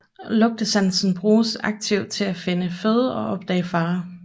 Lugtesansen bruges aktivt til at finde føde og opdage farer